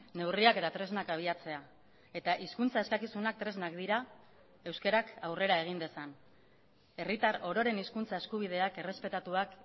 neurriak eta tresnak abiatzea eta hizkuntza eskakizunak tresnak dira euskarak aurrera egin dezan herritar ororen hizkuntza eskubideak errespetatuak